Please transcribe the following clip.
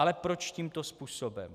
Ale proč tímto způsobem?